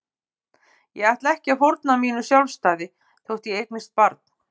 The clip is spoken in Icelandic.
Ég ætla ekki að fórna mínu sjálfstæði þótt ég eignist barn.